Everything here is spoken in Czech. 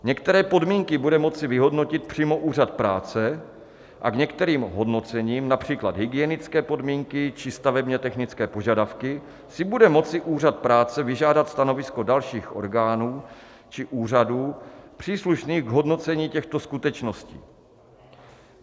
Některé podmínky bude moci vyhodnotit přímo Úřad práce a k některým hodnocením, například hygienické podmínky či stavebně-technické požadavky, si bude moci Úřad práce vyžádat stanovisko dalších orgánů či úřadů příslušných k hodnocení těchto skutečností.